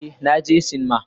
Ee, na je sinima.